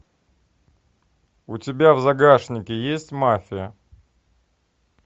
у тебя в загашнике есть мафия